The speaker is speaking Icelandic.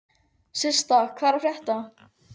Systa, hvað er að frétta?